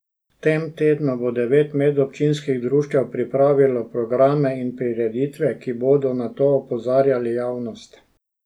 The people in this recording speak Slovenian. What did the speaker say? V tem tednu bo devet medobčinskih društev pripravilo programe in prireditve, ki bodo na to opozarjali javnost.